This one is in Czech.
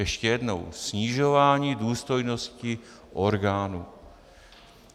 Ještě jednou - snižování důstojnosti orgánů.